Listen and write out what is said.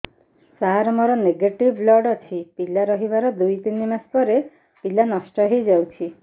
ସାର ମୋର negative blood ଅଛି ପିଲା ରହିବାର ଦୁଇ ତିନି ମାସ ପରେ ପିଲା ନଷ୍ଟ ହେଇ ଯାଉଛି